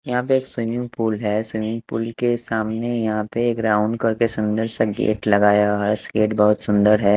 यहाँ पे एक स्विमिंग पूल है स्विमिंग पूल के सामने यहाँ पे एक राउंड करके एक सुंदर सा गेट लगाया हुआ है गेट बहुत सुंदर है।